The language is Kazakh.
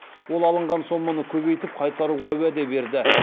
ол алынған соманы көбейтіп қайтаруға уәде берді